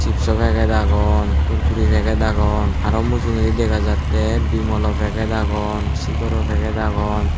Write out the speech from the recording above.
chipso packet agon kurkure packet agon aro mujungedi dega jattey bimal o packet agon sikhar o packet agon.